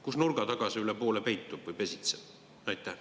Kus nurga tagasi üle poole peitub või pesitseb?